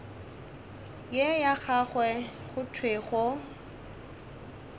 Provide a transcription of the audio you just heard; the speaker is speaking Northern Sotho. ye ya gago go thwego